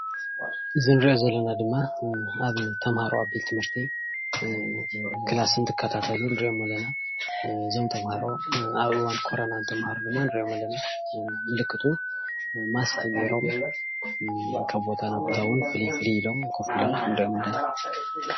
እዚ እንሪኦ ዘለና ድማ ተማሃሮ ኣብ ቤት ትምህርቲ ክላስ እንትካታተሉ እንሪኦም ኣለና፡፡ እዞም ተማሃሮ ኣብ እዋን ኮረና እትማሃሩ እንሪኦም ኣለና፡፡ ምልክቱ መስክ ጌሮም ካብ ቦታ ናብ ቦታ እውን ፍልይ ፍልይ ኢሎም ንሪኦም ኣለና፡፡